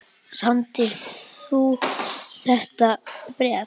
Samdir þú þetta bréf?